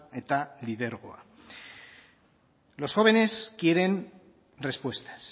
eta lidergoa los jóvenes quieren respuestas